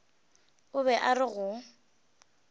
o be a re go